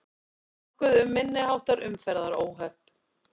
Nokkuð um minniháttar umferðaróhöpp